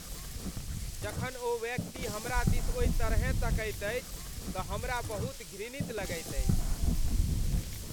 जखन ओ व्यक्ति हमरा दिस ओहि तरहेँ तकैत अछि तँ हमरा बहुत घृणित लगैत अछि।